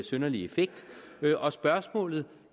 synderlig effekt og spørgsmålet